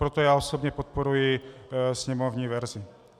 Proto já osobně podporuji sněmovní verzi.